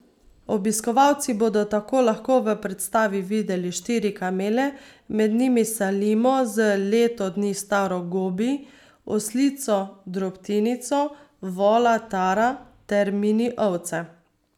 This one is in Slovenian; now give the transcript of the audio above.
Obiskovalci bodo tako lahko v predstavi videli štiri kamele, med njimi Salimo z leto dni staro Gobi, oslico Drobtinico, vola Tara ter mini ovce.